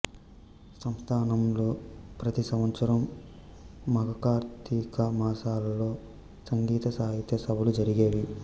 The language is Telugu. సంస్థానంలో ప్రతి సంవత్సరం మాఘ కార్తీక మాసాలలో సంగీత సాహిత్య సభలు జరిగేవి